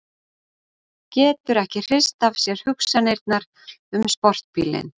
Getur ekki hrist af sér hugsanirnar um sportbílinn.